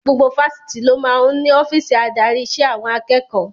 Gbogbo Fáṣítì ló máa ń ní ọ́fíìsì adarí ìṣe àwọn akẹ́kọ̀ọ́